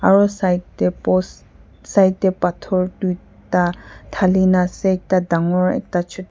aru side tey post side tey pathor duita dalhina ase ekta dangor ekta chu--